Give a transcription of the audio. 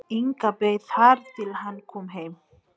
Inga beið þar til hann kom heim.